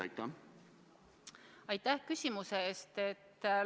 Aitäh küsimuse eest!